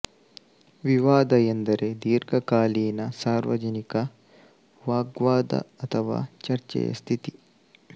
ವಿವಾದ ಎಂದರೆ ದೀರ್ಘಕಾಲೀನ ಸಾರ್ವಜನಿಕ ವಾಗ್ವಾದ ಅಥವಾ ಚರ್ಚೆಯ ಸ್ಥಿತಿ